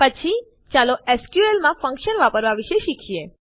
પછી ચાલો એસક્યુએલ માં ફંક્શનો વાપરવાં વિશે શીખીએ